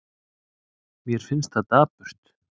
Mér finnst það dapurt.